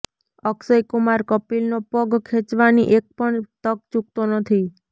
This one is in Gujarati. અક્ષય કુમાર કપિલનો પગ ખેંચવાની એક પણ તક ચૂકતો નથી